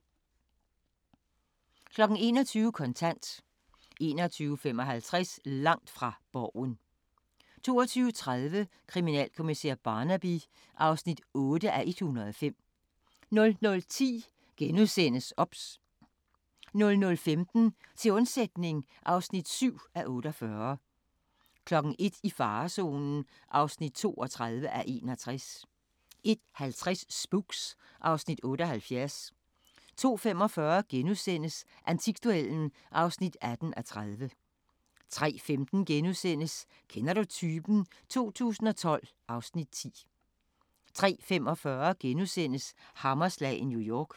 21:00: Kontant 21:55: Langt fra Borgen 22:30: Kriminalkommissær Barnaby (8:105) 00:10: OBS * 00:15: Til undsætning (7:48) 01:00: I farezonen (32:61) 01:50: Spooks (Afs. 78) 02:45: Antikduellen (18:30)* 03:15: Kender du typen? 2012 (Afs. 10)* 03:45: Hammerslag i New York *